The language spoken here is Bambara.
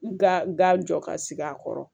Ga jɔ ka sigi a kɔrɔ